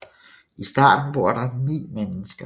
I starten bor der ni mennesker